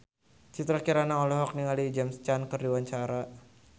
Citra Kirana olohok ningali James Caan keur diwawancara